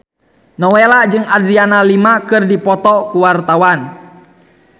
Nowela jeung Adriana Lima keur dipoto ku wartawan